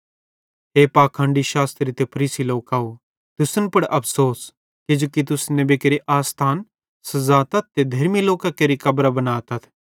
हे पाखंडी शास्त्री ते फरीसी लोकव तुसन पुड़ अफ़सोस किजोकि तुस नेबी केरे आसथान सजातथ ते धेर्मी लोकां केरि कब्रां बनातथ